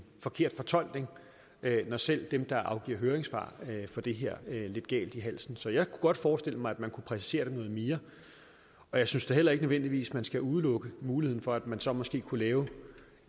forkert fortolkning når selv dem der afgiver høringssvar får det her lidt galt i halsen så jeg kunne godt forestille mig at man kunne præcisere det noget mere og jeg synes da heller ikke nødvendigvis at man skal udelukke muligheden for at man så måske kunne lave